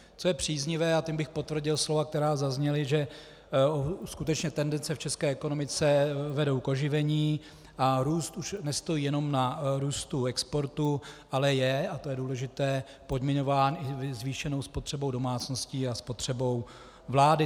Co je příznivé, a tím bych potvrdil slova, která zazněla, že skutečně tendence v české ekonomice vedou k oživení a růst už nestojí jenom na růstu exportu, ale je, a to je důležité, podmiňován i zvýšenou spotřebou domácností a spotřebou vlády.